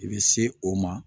I bɛ se o ma